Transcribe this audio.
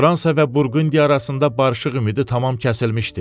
Fransa və Burqundiya arasında barışıq ümidi tamam kəsilmişdi.